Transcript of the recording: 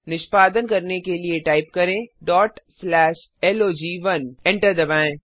निष्पादन करने के लिए टाइप करें log1 एंटर दबाएँ